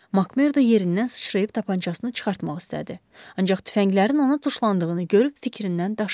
Makmerdo yerindən sıçrayıb tapançasını çıxartmaq istədi, ancaq tüfənglərin ona tuşlandığını görüb fikrindən daşındı.